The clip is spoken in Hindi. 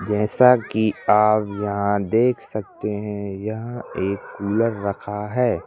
जैसा कि आप यहां देख सकते हैं यहां एक कूलर रखा है।